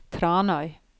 Tranøy